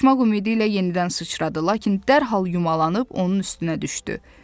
Qaçmaq ümidi ilə yenidən sıçradı, lakin dərhal yumalanıb onun üstünə düşdü.